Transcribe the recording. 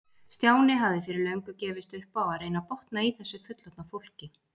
Stjáni hafði fyrir löngu gefist upp á að reyna að botna í þessu fullorðna fólki.